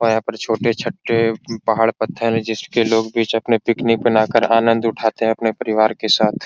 पाया पर छोटे-छटे पहाड़ पत्थर है जिसके लोग बीच अपने पिकनिक मना कर आनंद उठाते है अपने परिवार के साथ।